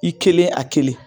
I kelen, a kelen